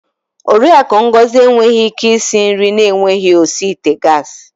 Oriakụ Ngozi enweghị ike isi nri na-enweghị osi ite gas.